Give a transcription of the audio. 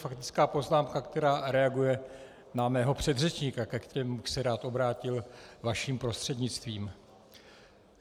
Faktická poznámka, která reaguje na mého předřečníka, ke kterému bych se rád obrátil vaším prostřednictvím.